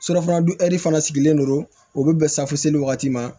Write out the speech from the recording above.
Surafana dun ɛri fana sigilen don o bɛ bɛn wagati ma